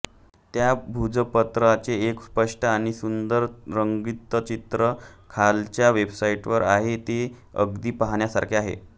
त्या भूर्जपत्राचे एक स्पष्ट आणि सुंदर रंगीत चित्र खालच्या वेबसाइटवर आहे ते अगदी पहाण्यासारखे आहे